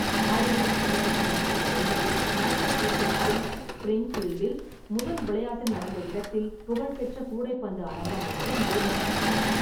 ஆயிரத்து தொள்ளாயிரத்து ஐம்பத்தி ஒன்பதில் மாசசூசெட்ஸில், ஸ்பிரிங்ஃபீல்டில் முதல் விளையாட்டு நடந்த இடத்தில் புகழ் பெற்ற கூடைப்பந்து அரங்கம் ஒன்று நிறுவப்பட்டது.